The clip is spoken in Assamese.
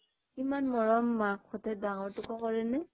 ইমান মৰম মাক হতে ডাঙৰটোকো কৰেনে